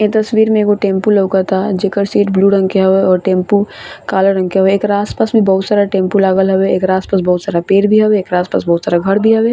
इ तस्वीर मे एगो टेम्पू लउकता जेकर सीट ब्लू रंग के हवे और टेम्पू काला रंग के हवे एकरा आस-पास में बहुत सारा टेम्पू लागल हवे एकरा आस-पास में बहुत सारा पेड़ भी हवे एकरा आस-पास बहुत सारा घर भी हवे।